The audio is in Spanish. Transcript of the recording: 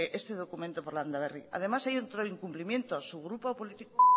este documento por landaberri además hay otro incumplimiento su grupo político